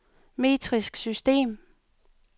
metrisk system